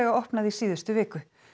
opnað í síðustu viku